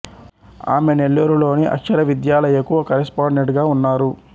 ఆమె నెల్లూరు లోని అక్షర విద్యాలయకు కరెస్పాండెంట్ గా ఉన్నారు